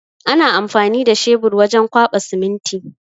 Ana amfani da shabur wajen kwaɓa siminti.